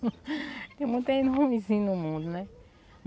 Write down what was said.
Tem muita gente ruimzinha no mundo, né?